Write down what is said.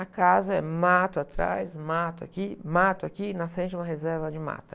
A casa é mato atrás, mato aqui, mato aqui, na frente de uma reserva de mata.